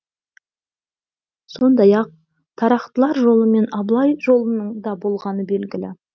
сондай ақ тарақтылар жолы мен абылай жолының да болғаны белгілі